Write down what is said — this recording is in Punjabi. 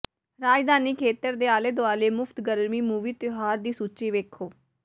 ਰਾਜਧਾਨੀ ਖੇਤਰ ਦੇ ਆਲੇ ਦੁਆਲੇ ਮੁਫ਼ਤ ਗਰਮੀ ਮੂਵੀ ਤਿਉਹਾਰ ਦੀ ਸੂਚੀ ਵੇਖੋ